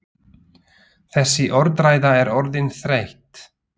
Þessi orðræða er orðin þreytt!